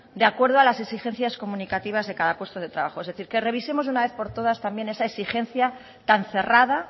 de acuerdo a las exigencias comunicativas de cada puesto de trabajo es decir que revisemos una vez por todas también esa exigencia tan cerrada